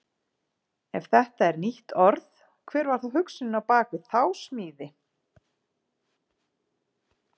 Ef þetta er nýtt orð, hver var þá hugsunin á bak við þá smíði?